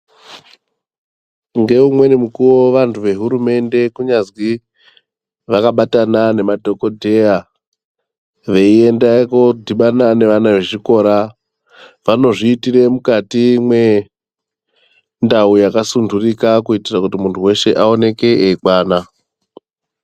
Ngeumweni mukuwo vantu vehurumende kunyazi ,vakabatana nemadhokodheya, veienda kodhibana nevana vezvikora, vanozviitire mukati mwendau yakasunturika, kuitira kuti muntu weshe aonekwe eikwana.